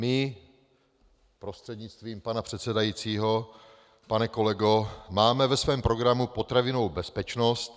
My, prostřednictvím pana předsedajícího pane kolego, máme ve svém programu potravinovou bezpečnost.